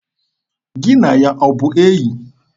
Gị na ya ọ bụ enyi?